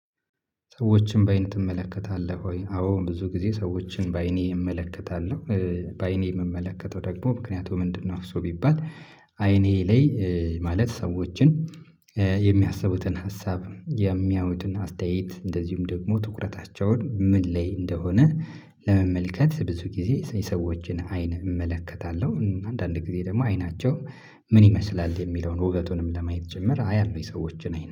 ሰዎችን በአይን ትመለከታለህ ወይ? አዎ ብዙ ጊዜ ሰዎችን በአይኔ እመለከታለሁ፤ በአይኔ የምመለከተው ደግሞ ምክንያቱም ምንድነው ሰው ቢባል አይኔ ላይ ማለት ሰዎችን የሚያስቡትን ሀሳብ፤ የሚያዩትን አስተያየት እንደዚሁም ደግሞ ትኩረታቸውን ምን ላይ እንደሆነ ለመመልከት ብዙ ጊዜ ሰዎችን አይን እመለከታለሁ አንዳንድ ጊዜ ደግሞ አይናቸው ምን ይመስላል የሚለውን ውበቱንም ለማየት ጭምር አያለሁኝ ሰዎችን አይነት